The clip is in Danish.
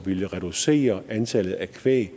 ville reducere antallet af kvæg